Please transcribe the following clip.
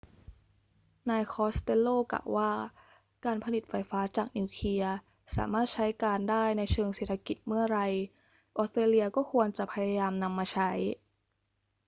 นายคอสเตลโลกล่าวว่า การผลิตไฟฟ้าจากนิวเคลียร์สามารถใช้การได้ในเชิงเศรษฐกิจเมื่อไร ออสเตรเลียก็ควรจะพยายามนำมาใช้